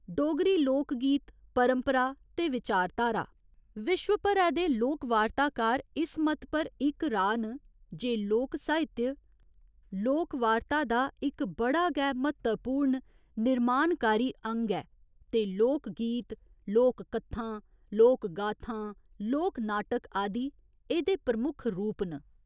डोगरी लोक गीत परंपरा ते विचारधारा विश्व भरै दे लोकवार्ताकार इस मत पर इक राऽ न जे लोक साहित्य 'लोक वार्ता' दा इक बड़ा गै म्हत्तवपूर्ण निर्माणकारी अंग ऐ ते लोक गीत, लोक कत्थां, लोक गाथां, लोक नाटक आदि एह्दे प्रमख रूप न।